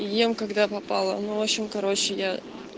ем когда попало но в общем короче я